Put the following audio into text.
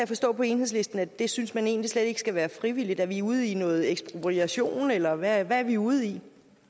forstå på enhedslisten at det synes man egentlig slet ikke skal være frivilligt er vi ude i noget ekspropriation eller hvad er vi ude i